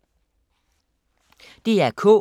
DR K